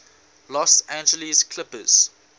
los angeles clippers